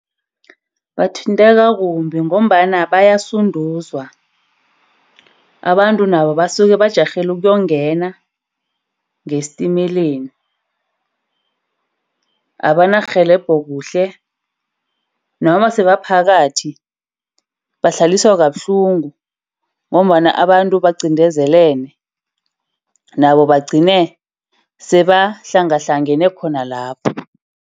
Bathinteka kumbi ngombana bayasuduzwa. Abantu nabo basuke bajarhele ukungena ngesintemeleni. Abantu abanarhelebho kuhle. Noma sebaphakathi, bahlaliswe kabuhlungu ngombana abantu baqindezelene. Nabo bagcine sebahlangahlangene khona lapho.